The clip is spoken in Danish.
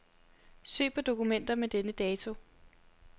Søg på dokumenter med denne dato.